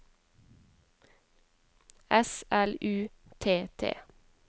S L U T T